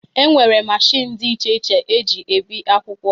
E nwere machiin dị iche iche e ji ebi akwụkwọ